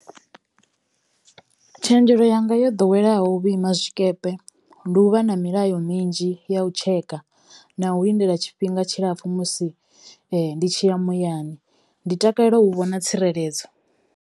Tshenzhelo yanga yo ḓoweleaho vhuima tshikepe, ndi u vha na milayo minzhi ya u tsheka na u lindela tshifhinga tshilapfhu musi ndi tshi ya muyani, ndi takalela u vhona tsireledzo.